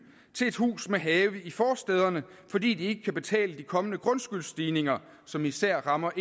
til et hus med have i forstæderne fordi de ikke kan betale de kommende grundskyldsstigninger som især rammer